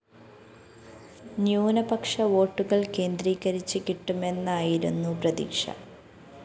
ന്യൂനപക്ഷ വോട്ടുകള്‍ കേന്ദ്രികരിച്ച് കിട്ടുമെന്നയിരുന്നു പ്രതീക്ഷ